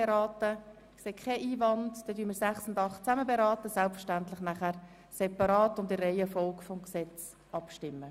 Wir werden jedoch separat und in der Reihenfolge des Gesetzes abstimmen.